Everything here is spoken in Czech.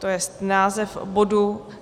To je název bodu.